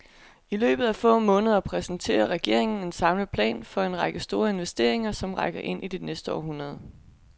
I løbet af få måneder præsenterer regeringen en samlet plan for en række store investeringer, som rækker ind i det næste århundrede.